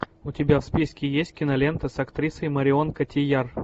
у тебя в списке есть кинолента с актрисой марион котийяр